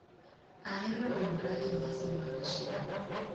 Ahero riwra e nyasi mag chiro.